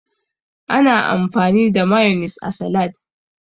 Ana amfani da mayonis a salad.